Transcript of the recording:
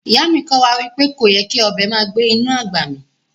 Iya mi ko wa wipe koyè́ kí ọbẹ màá gbẹ̀ inú agbá mí